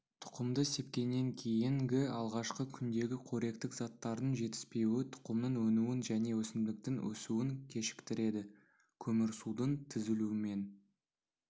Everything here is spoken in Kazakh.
тұқымды сепкеннен кейінгі алғашқы күндегі қоректік заттардың жетіспеуі тұқымның өнуін және өсімдіктің өсуін кешіктіреді көмірсудың түзілуімен